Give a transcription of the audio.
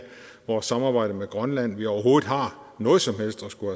vores samarbejde med grønland at vi overhovedet har noget som helst at skulle